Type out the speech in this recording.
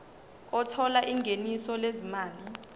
othola ingeniso lezimali